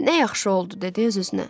Nə yaxşı oldu, dedi öz-özünə.